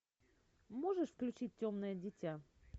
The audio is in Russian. можешь включить темное дитя